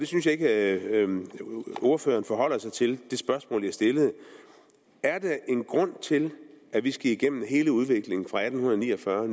synes ikke at ordføreren forholdt sig til det spørgsmål jeg stillede er der en grund til at vi skal igennem hele udviklingen fra atten ni og fyrre